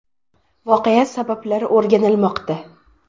Voqea sabablari o‘rganilmoqda.